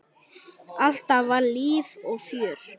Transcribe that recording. Alltaf var líf og fjör.